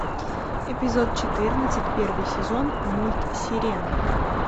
эпизод четырнадцать первый сезон мульт сирена